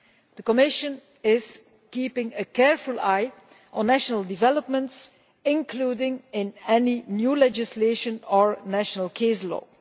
The Commission is keeping a careful eye on national developments, including in any new legislation or national case law.